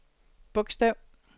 bogstav